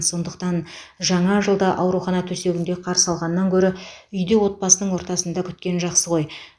сондықтан жаңа жылды аурухана төсегінде қарсы алғаннан гөрі үйде отбасының ортасында күткен жақсы ғой